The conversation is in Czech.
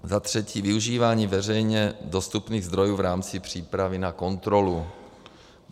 Za třetí využívání veřejně dostupných zdrojů v rámci přípravy na kontrolu.